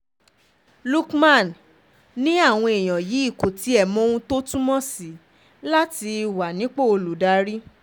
lukman um ni àwọn èèyàn yìí kò tiẹ̀ mọ ohun tó túmọ̀ sí láti um wà nípò olùdarí